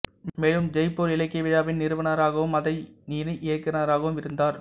மேலும் ஜெய்ப்பூர் இலக்கிய விழாவின் நிறுவனராகவும் அதன் இணை இயக்குனராகவும் இருந்தார்